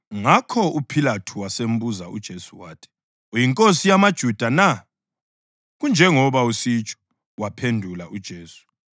Ngakho uPhilathu wasembuza uJesu wathi, “Uyinkosi yamaJuda na?” “Kunjengoba usitsho,” waphendula uJesu.